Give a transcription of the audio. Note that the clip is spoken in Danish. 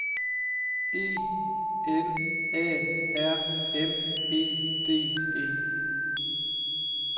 E N A R M E D E